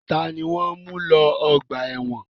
Ta ni wọ́n ń mu lọ ọgbà ẹ̀wọ́n?